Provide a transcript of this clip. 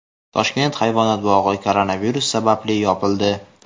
Toshkent hayvonot bog‘i koronavirus sababli yopildi.